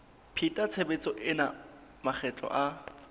pheta tshebetso ena makgetlo a